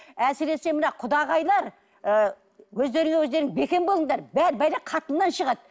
әсіресе мына құдағайлар ы өздеріңе өздерің бекем болыңдар бар пәле қатыннан шығады